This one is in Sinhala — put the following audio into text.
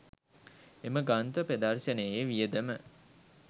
එම ග්‍රන්ථ ප්‍රදර්ශනයේ වියදම